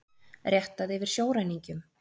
Réttað yfir sjóræningjum